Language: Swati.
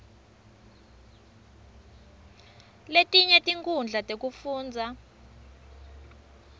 letinye tinkhundla tekufundza